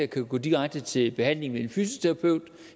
kan gå direkte til behandling hos en fysioterapeut